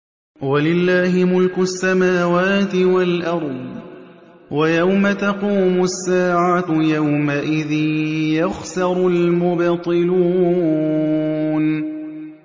وَلِلَّهِ مُلْكُ السَّمَاوَاتِ وَالْأَرْضِ ۚ وَيَوْمَ تَقُومُ السَّاعَةُ يَوْمَئِذٍ يَخْسَرُ الْمُبْطِلُونَ